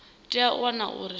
tea u wana uri zwo